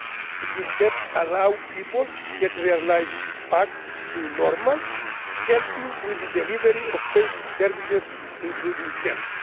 the media. It will help allow people to get their lives back to normal, helping with the delivery of basic services, including